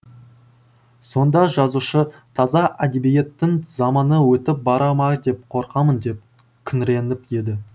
сонда жазушы таза әдебиеттің заманы өтіп бара ма деп қорқамын деп күңіреніп еді